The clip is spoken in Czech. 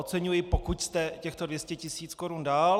Oceňuji, pokud jste těchto 200 tisíc korun dal.